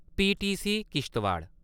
PTC- Kishtwar